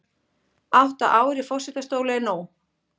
Átta ár í forsetastóli nóg